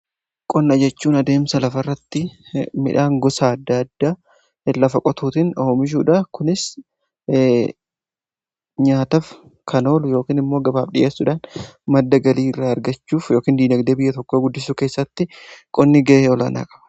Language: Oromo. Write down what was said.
qonna jechuun adeemsa lafa irratti midhaan gosa adda addaa lafa qotuutin omishuudha. Kunis nyaataf kan oolu yookin immoo gabaaf dhiyeessuudhaan madda galii irraa argachuuf yookin diinagdee biyya tokko guddisuu keessatti qonni ga'ee olaanaa qaba.